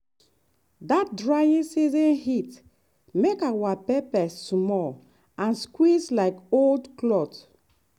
that dry season heat make our pepper small and squeeze like old cloth.